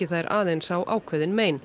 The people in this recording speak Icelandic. þær aðeins á ákveðin mein